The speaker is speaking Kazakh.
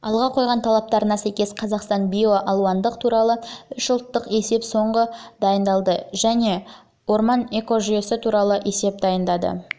алға қойған талаптарына сәйкес қазақстан биоалуандылық туралы үш ұлттық есеп соңғы есеп жылы дайындалды және орман экожүйесі туралы есеп дайындады